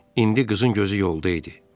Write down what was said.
İndi qızın gözü yolda idi.